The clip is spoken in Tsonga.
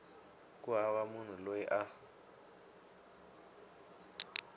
ku hava munhu loyi a